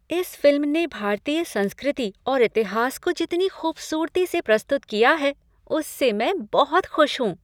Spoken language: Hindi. इस फ़िल्म ने भारतीय संस्कृति और इतिहास को जितनी ख़ूबसूरती से प्रस्तुत किया है उससे मैं बहुत खुश हूँ।